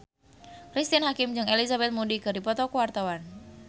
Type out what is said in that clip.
Cristine Hakim jeung Elizabeth Moody keur dipoto ku wartawan